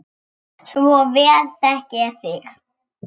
Svo vel þekki ég þig.